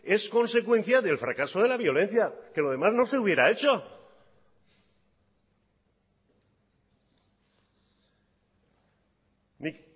es consecuencia del fracaso de la violencia que lo demás no se hubiera hecho nik